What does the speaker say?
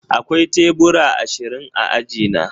Akwai tebura ashirin a aji na